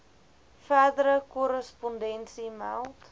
verdere korrespondensie meld